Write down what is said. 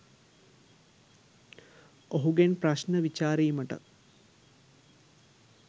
ඔහුගෙන් ප්‍රශ්න විචාරීමටත්